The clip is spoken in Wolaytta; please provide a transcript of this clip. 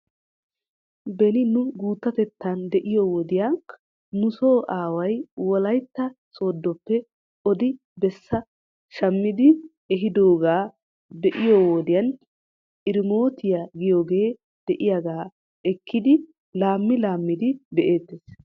Beni nu guuttatettan de'iyoo wodiya nuso aaway wolaytta sooddoppe odi bessaa shammidi ehiidoogaa beiyoo wodiyan irmootiyaa giyoogee de'iyaagaa ekkidi laammi laammidi be'eettes.